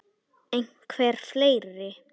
Einhver fleiri?